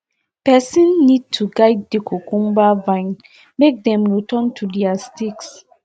person need to guide the cucumber vines make dem return to their sticks